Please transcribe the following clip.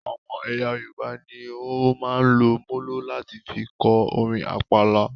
Àwọn ẹyà Yorùbá ní o máa ń lò molo láti fí kọ orin àpàlà